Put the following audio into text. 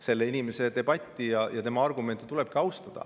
Selle inimese argumente tulebki austada.